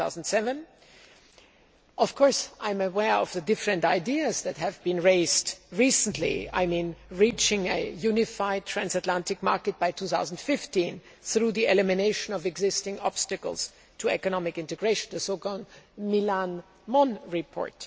2007. Of course, I am aware of the different ideas that have been raised recently such as reaching a unified transatlantic market by 2015 through the elimination of existing obstacles to economic integration the so called Millán Mon report.